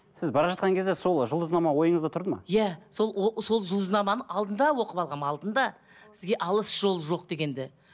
сіз бара жатқан кезде сол жұлдызнама ойыңызда тұрды ма иә сол сол жұлдызнаманы алдында оқып алғанмын алдында сізге алыс жол жоқ дегенді